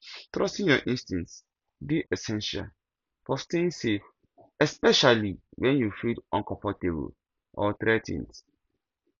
trusting your instincts dey essential for staying safe especially when you feel uncomfortable or threa ten ed